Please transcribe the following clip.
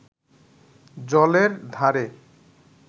জলের ধারে